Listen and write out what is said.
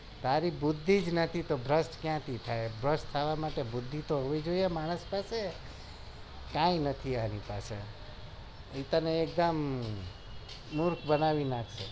તારી બુધિ નથી તો ભ્રષ્ટ કયા થી થાય ભ્રષ્ટ થવા માટે બુધિ તો હોવી જોઈએ માણસ પાસે કાઈ નથી તારી પાસે મુર્ખ બનાવી નાખે